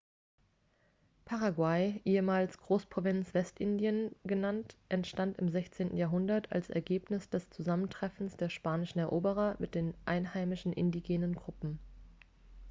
paraguay ehemals großprovinz westindien genannt entstand im 16. jahrhundert als ergebnis des zusammentreffens der spanischen eroberer mit den einheimischen indigenen gruppen